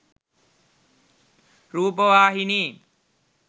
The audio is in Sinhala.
rupavahini